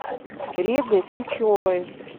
регой сычевой